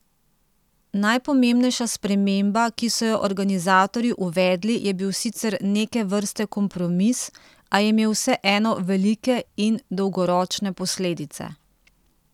Najpomembnejša sprememba, ki so jo organizatorji uvedli, je bil sicer neke vrste kompromis, a je imel vseeno velike in dolgoročne posledice.